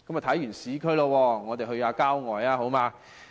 看完市區，去郊外好嗎？